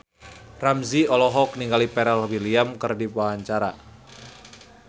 Ramzy olohok ningali Pharrell Williams keur diwawancara